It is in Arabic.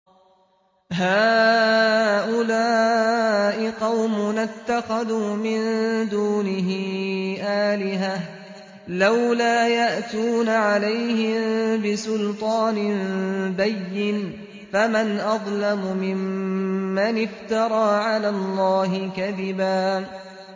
هَٰؤُلَاءِ قَوْمُنَا اتَّخَذُوا مِن دُونِهِ آلِهَةً ۖ لَّوْلَا يَأْتُونَ عَلَيْهِم بِسُلْطَانٍ بَيِّنٍ ۖ فَمَنْ أَظْلَمُ مِمَّنِ افْتَرَىٰ عَلَى اللَّهِ كَذِبًا